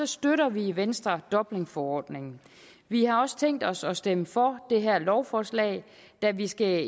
støtter vi i venstre dublinforordningen vi har også tænkt os at stemme for det her lovforslag da vi skal